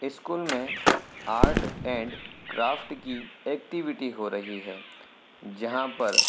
school में art and craft की activity हो रही है जहाँ पर --